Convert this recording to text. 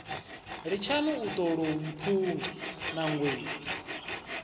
litshani u tolou mphunga nangweni